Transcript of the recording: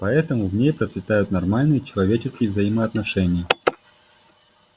поэтому в ней процветают нормальные человеческие взаимоотношения